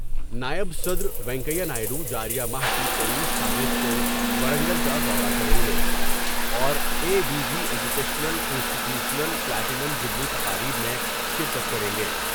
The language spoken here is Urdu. نائب صدر روینکیا نائیڈ و جار یہ ماہ کی تییس تاریخ کو ورنگل کا دورہ کر یں گے اوراے V V educational institutional platinum jubilee تقاریب میں شرکت کر یں گے ۔